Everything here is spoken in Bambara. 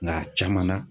Nka a caman na